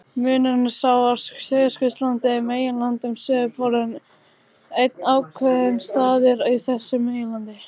Munurinn er sá að Suðurskautslandið er meginland en suðurpóllinn einn ákveðinn staður á þessu meginlandi.